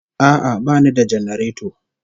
A'a bani da janareto